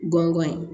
Gɔngɔn ye